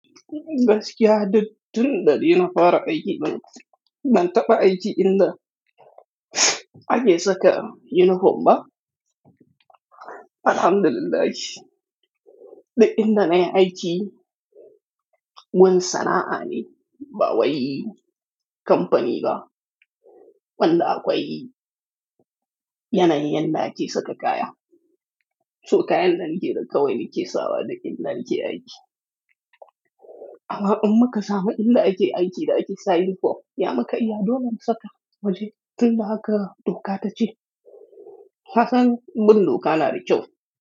Gaskiya duk tun danafara aiki ban, ban taɓa aiki illa ake saka uniform ba. Alhamdulillah shi, da inda na yi aiki wani sana'a ne ba wai yi kamfani ba, wanda akwai yanayin da ake saka kaya. So kayan da na ke da kawai ne ke sawa da inda na ke aiki. Amma in muka samu illa ake aiki da ake sa uniform, ya maka iya dole mu saka. Waje duk da haka doka ta ce. Kasan bin doka na da kyau.